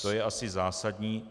To je asi zásadní.